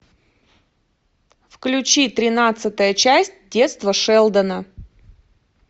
включи тринадцатая часть детство шелдона